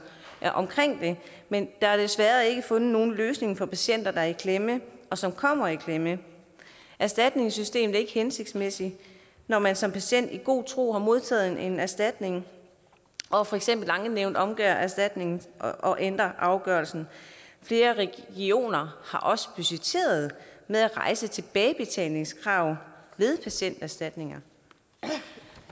men der er desværre ikke fundet nogen løsninger for patienter der er i klemme og som kommer i klemme erstatningssystemet er ikke hensigtsmæssigt når man som patient i god tro har modtaget en erstatning og for eksempel ankenævnet så omgør erstatningen og ændrer afgørelsen flere regioner har også budgetteret med at rejse tilbagebetalingskrav ved patienterstatninger